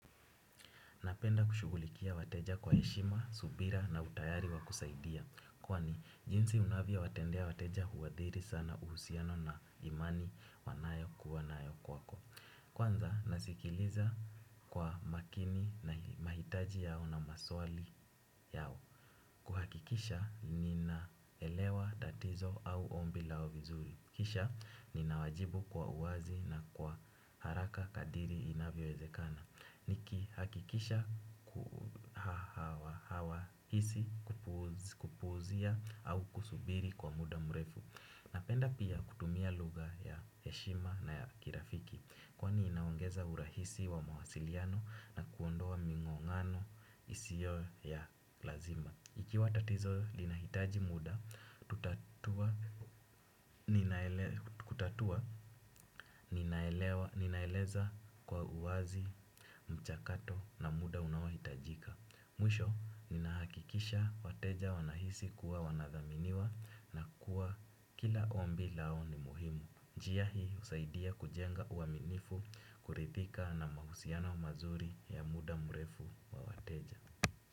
Napenda kushughulikia wateja kwa heshima, subira na utayari wa kusaidia. Kwani jinsi unavyowatendea wateja huadhiri sana uhusiano na imani wanayo kuwa nayo kwako. Kwanza nasikiliza kwa makini na mahitaji yao na maswali yao. Kuhakikisha ninaelewa tatizo au ombi lao vizuri. Kisha ninawajibu kwa uwazi na kwa haraka kadiri inavyowezekana. Nikihakikisha hawahisi kupuuzia au kusubiri kwa muda mrefu napenda pia kutumia lugha ya heshima na ya kirafiki. Kwani inaongeza urahisi wa mawasiliano na kuondoa mingongano isiyo ya lazima. Ikiwa tatizo linahitaji muda, kutatua ninaeleza kwa uwazi mchakato na muda unaohitajika. Mwisho, ninahakikisha wateja wanahisi kuwa wanadhaminiwa na kuwa kila ombi lao ni muhimu. Njia hii, husaidia kujenga uaminifu kuridhika na mahusiano mazuri ya muda mrefu kwa wateja.